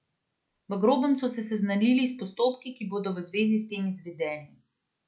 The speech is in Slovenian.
V grobem so se seznanili s postopki, ki bodo v zvezi s tem izvedeni.